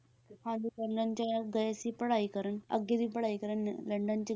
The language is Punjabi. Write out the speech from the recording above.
ਹਾਂਜੀ ਲੰਡਨ 'ਚ ਗਏ ਸੀ ਪੜ੍ਹਾਈ ਕਰਨ ਅੱਗੇ ਦੀ ਪੜ੍ਹਾਈ ਕਰਨ ਲੰਡਨ 'ਚ,